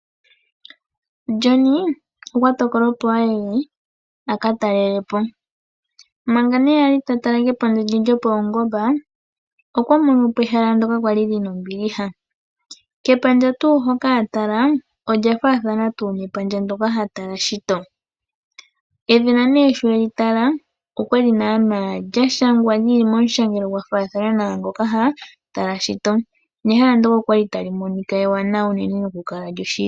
John okwa tokola opo aye a ka talele po. Mpanga nee a li ta tala kepandja lye lyo paungomba, okwa mono po ehala ndyoka lya li lina ombiliha . Kepandja tuu hoka a tala ,olya faathana tuu nepandja ndyoka ha tala shito. Edhina nee sho e li tala ,okwali naaana lya shangwa ,li li moshangelo gwa faathana naa ngoka ha tala shito, nehala ndyoka okwali tali monika ewanawa no ku kala lyo shili.